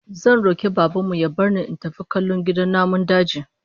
Zan roki Baban mu ya bar ni in tafi kallo gidan namun daji